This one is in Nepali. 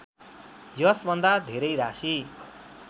यसभन्दा धेरै राशि